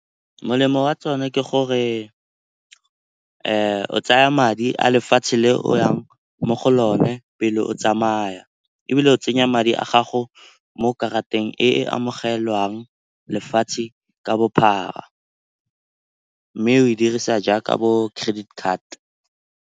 Molemo wa tsone ke gore o tsaya madi a lefatshe le o yang mo go lone pele o tsamaya. Ebile o tsenya madi a gago mo karateng e e amogelwang lefatshe ka bophara, mme o e dirisa jaaka bo credit card.